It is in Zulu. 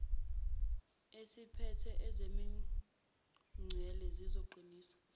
esiphethe ezemingcele sizoqinisa